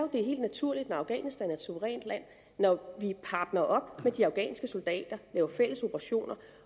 det er helt naturligt når afghanistan er et suverænt land når vi partner op med de afghanske soldater laver fælles operationer